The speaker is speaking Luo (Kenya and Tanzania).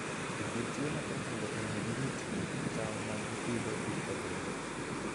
Jopur tiyo matek mondo omi girit cham ma gipidho kik kethre.